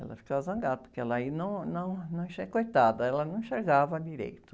Ela ficava zangada, porque ela, aí, não, não, não enxer, coitada, ela não enxergava direito.